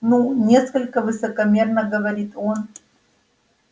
ну несколько высокомерно говорит он